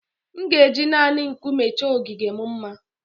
M ga-eji naanị Nkume chọọ ogige m mma